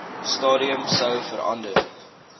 stadium sou verander